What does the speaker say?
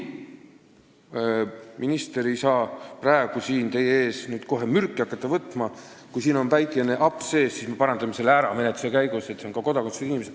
Minister ei saa praegu siin teie ees kohe mürki võtma hakata: kui siin on väike aps sees, siis me parandame selle menetluse käigus ära, et see tähendab ka kodakondsuseta inimesi.